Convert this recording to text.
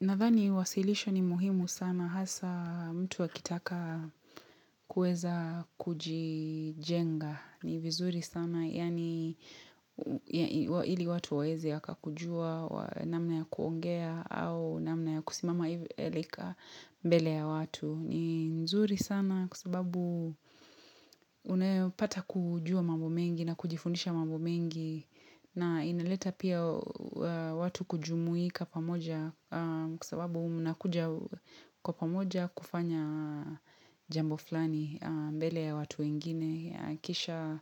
Nadhani wasilisho ni muhimu sana hasa mtu akitaka kueza kujijenga ni vizuri sana yani ili watu waeze wakakujua namna ya kuongea au namna ya kusimama hivi e like a mbele ya watu. Ni nzuri sana kwa sababu unayopata kujua mambo mengi na kujifundisha mambo mengi na inaleta pia watu kujumuika pamoja kwa sababu mnakuja kwa pamoja kufanya jambo flani mbele ya watu wengine Kisha